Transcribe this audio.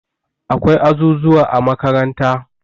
Akwai azuzuwa a makaranta